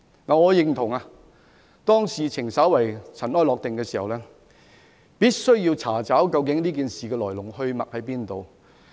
我認同當事件稍為塵埃落定時，必須查找事件的來龍去脈。